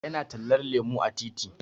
Ya na tallar lemu a titi